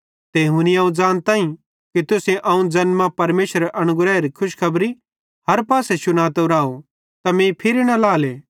ते हुनी अवं ज़ानताईं कि तुसेईं अवं ज़ैन मां परमेशरेरे अनुग्रहेरी खुशखबरी हर पासे शुनातो राव त मीं फिरी न लाएले